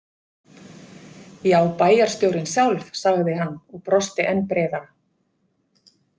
Já, bæjarstjórinn sjálf, sagði hann og brosti enn breiðara.